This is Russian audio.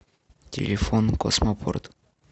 телефон космопорт